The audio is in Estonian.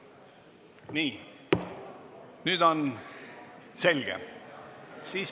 Nii, nüüd on selge.